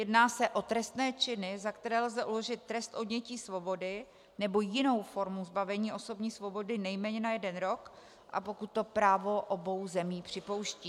Jedná se o trestné činy, za které lze uložit trest odnětí svobody nebo jinou formu zbavení osobní svobody nejméně na jeden rok, a pokud to právo obou zemí připouští.